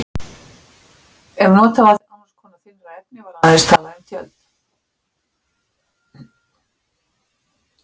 Ef notað var annars konar þynnra efni var aðeins talað um tjöld.